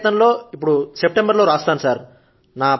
రెండో ప్రయత్నం లో ఇప్పుడు సెప్టెంబర్ లో రాస్తాను